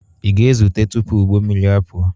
Ị ga-ezute tupu ụgbọ mmiri apụọ?